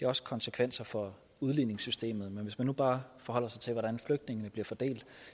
også konsekvenser for udligningssystemet men hvis man nu bare forholder sig til hvordan flygtningene bliver fordelt